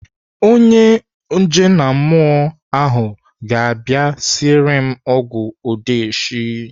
Onye ojenammụọ ahụ ga-abịa esiri m ọgwụ odigheshi.